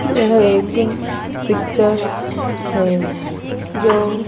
यह एक पिक्चर्स है जो--